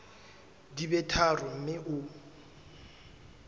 di be tharo mme o